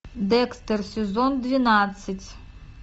декстер сезон двенадцать